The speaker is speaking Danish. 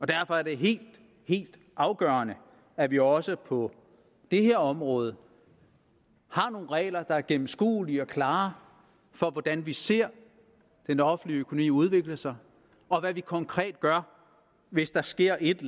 derfor er det helt helt afgørende at vi også på det her område har nogle regler der er gennemskuelige og klare for hvordan vi ser den offentlige økonomi udvikle sig og hvad vi konkret gør hvis der sker et